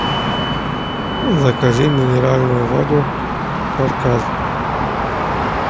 закажи минеральную воду кавказ